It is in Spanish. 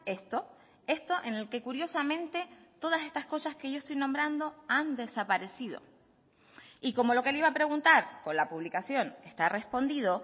esto esto en el que curiosamente todas estas cosas que yo estoy nombrando han desaparecido y como lo que le iba a preguntar con la publicación está respondido